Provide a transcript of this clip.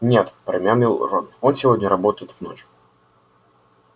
нет промямлил рон он сегодня работает в ночь